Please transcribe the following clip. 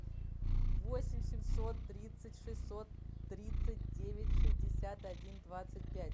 восемь семьсот тридцать шестьсот тридцать девять шестьдесят один двадцать пять